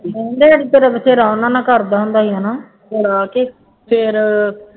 ਤਾਂ ਬਥੇਰ ਉਹਨਾ ਨਾਲ ਕਰਦਾ ਹੁੰਦਾ ਸੀ ਹੈ ਨਾ, ਲਾ ਕੇ ਫੇਰ